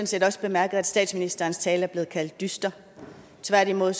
set også bemærket at statsministerens tale er blevet kaldt dyster tværtimod